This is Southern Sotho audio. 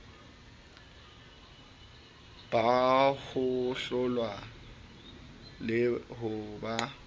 ba hohlola le ho ba